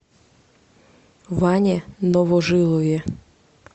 ване новожилове